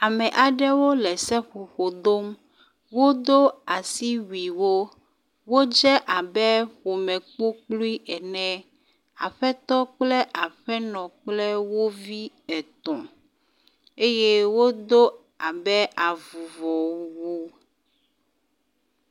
Ame aɖewo le seƒoƒo dom. Wodo asiwui wo. Wodze abe ƒome kpokploe ene. Aƒetɔ kple aƒenɔ kple wo vi etɔ̃ eye wodo abe avuvɔwu.